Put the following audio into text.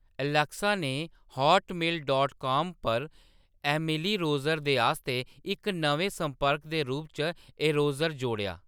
Alexa ने Hotmail dot com पर Emily Roser दे आस्तै इक नमें संपर्क दे रूप च एरोसर जोड़ेआ